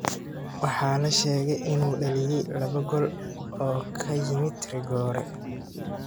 Waxaa la sheegaa inuu dhaliyay laba gool oo ka yimid rigoore.